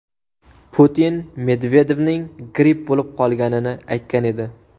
Putin Medvedevning gripp bo‘lib qolganini aytgan edi.